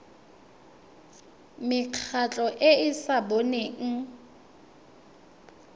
mekgatlho e e sa boneng